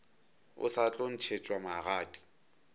o sa tlo ntšhetšwa magadi